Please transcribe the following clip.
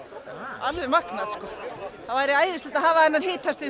alveg magnað sko það væri æðislegt að hafa þetta hitastig